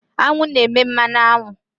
Aṅụ na-eme mmanụ aṅụ.